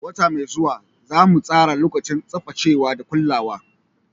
Wata mai zuwa, za mu tsara lokacin tsaftacewa da kulawa.